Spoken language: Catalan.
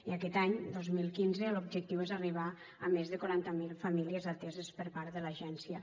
i aquest any dos mil quinze l’objectiu és arribar a més de quaranta miler famílies ateses per part de l’agència